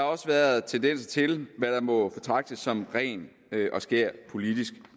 også været tendenser til hvad der må betragtes som ren og skær politisk